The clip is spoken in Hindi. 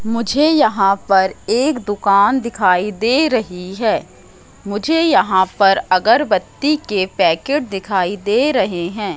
मुझे यहां पर एक दुकान दिखाई दे रही है मुझे यहां पर अगरबत्ती के पैकेट दिखाई दे रहे हैं।